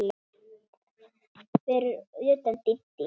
Fyrir utan Dídí.